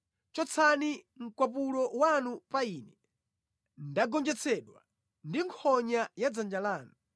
Chotsani mkwapulo wanu pa ine; ndagonjetsedwa ndi nkhonya ya dzanja lanu.